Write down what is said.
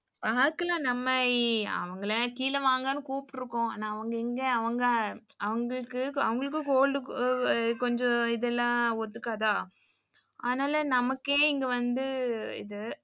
பாக்கலாம் நம்ம அவங்கள கீழ வாங்கனு கூப்டுருக்கோம். ஆனா அவங்க எங்க அவங்க அவங்களுக்கு cold கொஞ்சம் இதெல்லாம் ஒத்துகாதா ஆனால நமக்கே இங்க வந்து இது